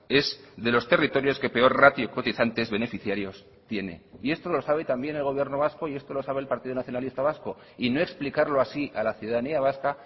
es de los territorios que peor ratio cotizantes beneficiarios tiene y esto lo sabe también el gobierno vasco y esto lo sabe el partido nacionalista vasco y no explicarlo así a la ciudadanía vasca